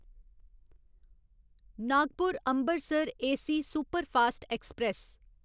Nagpur Ambarsar AC superfast express